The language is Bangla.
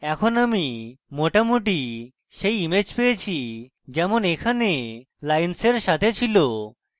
এখন আমি মোটামুটি সেই image পেয়েছি যেমন এখানে আমার lines সাথে ছিল